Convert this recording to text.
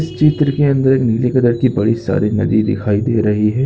--स चित्र के अंदर एक नीले कलर की बड़ी सारी नदी दिखाई दे रही है।